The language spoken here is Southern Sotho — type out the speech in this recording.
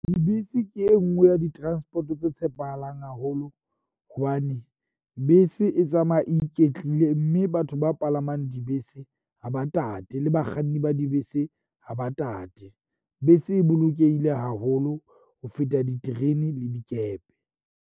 Dibese ke e nngwe ya di-transport-o tse tshepahalang haholo hobane bese e tsamaya e iketlile. Mme batho ba palamang dibese ha ba tate le bakganni ba dibese, ha ba tate. Bese e bolokehile haholo ho feta diterene le dikepe.